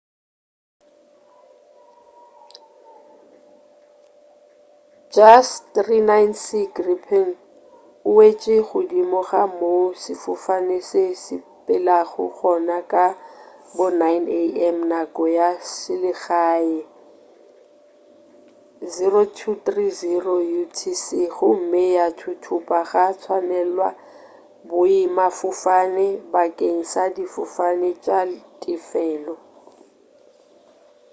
jas 39c gripen e wetše godimo ga moo sefofane se sepelago gona ka bo 9:30 am nako ya selegae 0230utc gomme ya thuthupa gwa tswalelwa boemafofane bakeng sa difofane tša tefelo